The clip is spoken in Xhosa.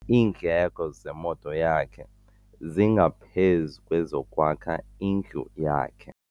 Iindleko zemoto yakhe zingaphezu kwezokwakha indlu yakhe.